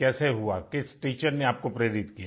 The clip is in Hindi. थी कैसे हुआ किस टीचर ने आपको प्रेरित